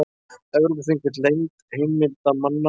Evrópuþing vill leynd heimildamanna